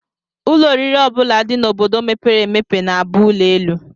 Ụlọ oriri ọ bụla dị n'obodo mepere emepe na-abụ ụlọelu